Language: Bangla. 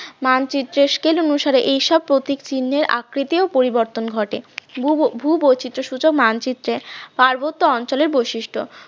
মানচিত্র scale অনুসারে এইসব প্রতীক চিহ্নের আকৃতি ও পরিবর্তন ঘটে ভূবৈচিত্র সূচক মানচিত্রে পার্বত্য অঞ্চলের বৈশিষ্ট্য